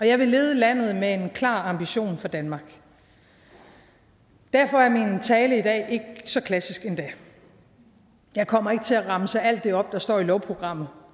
jeg vil lede landet med en klar ambition for danmark og derfor er min tale i dag ikke så klassisk endda jeg kommer ikke til at remse alt det op der står i lovprogrammet